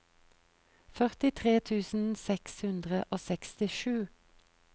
førtitre tusen seks hundre og sekstisju